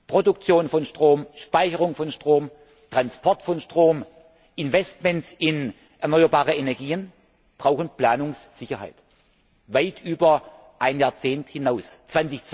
Produktion von Strom, Speicherung von Strom, Transport von Strom, Investitionen in erneuerbare Energien Planungssicherheit weit über ein Jahrzehnt hinaus braucht.